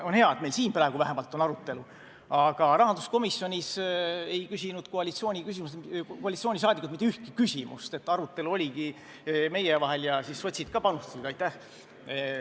On hea, et meil vähemalt siin praegu on arutelu, aga rahanduskomisjonis ei küsinud koalitsiooni liikmed mitte ühtegi küsimust, arutelu oligi meie vahel ja sotsid ka panustasid – aitäh!